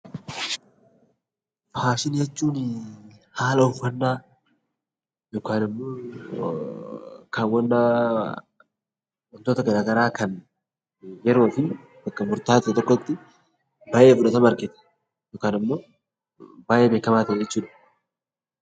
Faashinii jechuun haala uffannaa yookaan immoo wantoota garaagaraa kan iddoo fi bakka murtaa'aa ta'e tokkotti fudhatama argate yookaan immoo baay'ee beekamaa ta'e jechuudha